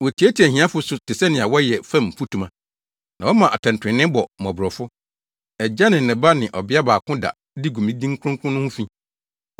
Wotiatia ahiafo so te sɛnea wɔyɛ fam mfutuma na wɔma atɛntrenee bɔ mmɔborɔfo. Agya ne ne ba ne ɔbea baako da de gu me din kronkron no ho fi.